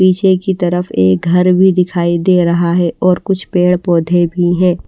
पीछे की तरफ एक घर भी दिखाई दे रहा है और कुछ पेड़ पौधे भी है।